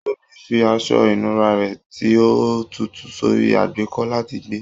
Tobi fi aṣọ ìnura rẹ ti o tutu sórí àgbékọ́ láti gbẹ.